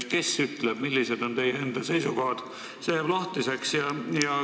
Kes on öelnud ja millised on teie enda seisukohad, see jääb lahtiseks.